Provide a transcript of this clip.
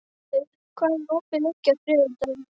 Snjófríður, hvað er opið lengi á þriðjudaginn?